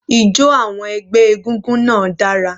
Ijo àwọn ẹgbẹ́ egúngún náà dára.